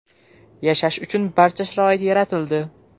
Yashash uchun barcha sharoit yaratildi.